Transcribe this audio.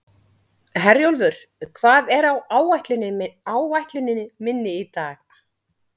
Herjólfur, hvað er á áætluninni minni í dag?